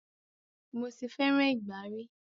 Mo ti fẹràn ìgbá ri.